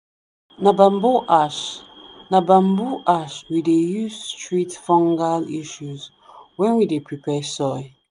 na bamboo ash na bamboo ash we dey use treat fungal issues when we dey prepare soil.